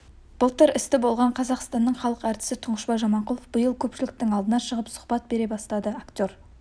былтыр істі болған қазақстанның халық әртісі тұңғышбай жаманқұлов биыл көпшіліктің алдына шығып сұхбат бере бастады актер